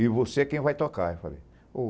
E você é quem vai tocar, eu falei.